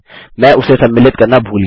मैं उसे सम्मिलित करना भूल गया